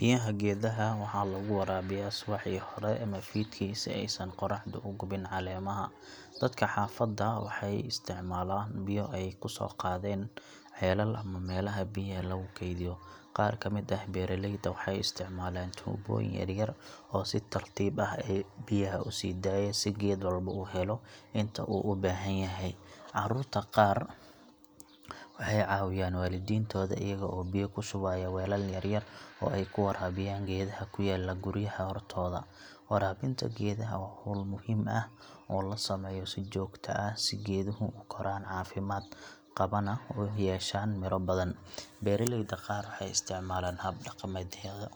Biyaha geedaha waxa lagu waraabiyaa subaxii hore ama fiidkii si aysan qorraxdu u gubin caleemaha. Dadka xaafadda waxay isticmaalaan biyo ay ka soo qaadeen ceelal ama meelaha biyaha lagu kaydiyo. Qaar ka mid ah beeraleyda waxay isticmaalaan tuubooyin yaryar oo si tartiib ah biyaha u sii daaya si geed walba u helo inta uu u baahan yahay. Carruurta qaar waxay caawiyaan waalidiintooda iyaga oo biyo ku shubaya weelal yaryar oo ay ku waraabiyaan geedaha ku yaalla guryaha hortooda. Waraabinta geedaha waa hawl muhiim ah oo la sameeyo si joogto ah si geeduhu u koraan caafimaad qabana u yeeshaan midho badan. Beeraleyda qaar waxay isticmaalaan hab dhaqameedyo